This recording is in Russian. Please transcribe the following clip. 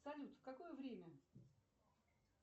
салют в какое время